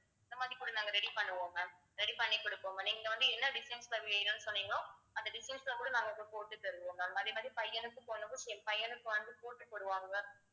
இந்த மாதிரி கூட நாங்க ready பண்ணுவோம் ma'am ready பண்ணி குடுப்போம் ma'am இங்க வந்து என்ன design ல வேணும்னு சொன்னீங்களோ அந்த design ல கூட நாங்க இப்ப போட்டு தருவோம் ma'am அதே மாதிரி பையனுக்கும் பொண்ணுக்கும் same பையனுக்கும் வந்து coat போடுவாங்க